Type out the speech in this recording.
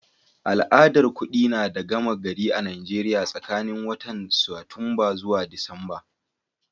Al'adar kudi na da gama gari a'Nijeriya tsakanin watan Satumba zuwa Disamba.